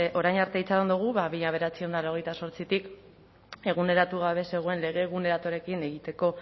orain arte itxaron dugu mila bederatziehun eta laurogeita zortzitik eguneratu gabe zegoen lege egiteko